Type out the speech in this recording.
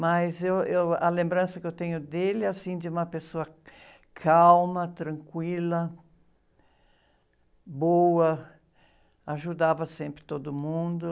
Mas eu, eu, a lembrança que eu tenho dele, assim, de uma pessoa calma, tranquila, boa, ajudava sempre todo mundo.